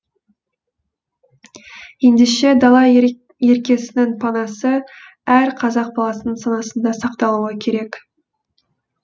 ендеше дала еркесінің панасы әр қазақ баласының санасында сақталуы керек